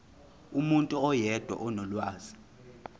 umuntu oyedwa onolwazi